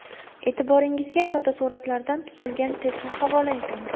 E’tiboringizga fotosuratlardan tuzilgan testni havola etamiz.